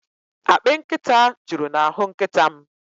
Akpị nkịta juru n'ahụ nkịta m.